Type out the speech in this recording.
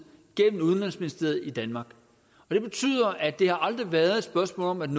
gennem udenrigsministeriet i danmark det betyder at det aldrig har været et spørgsmål om at